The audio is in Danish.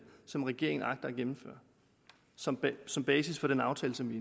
som regeringen agter at gennemføre som som basis for den aftale som vi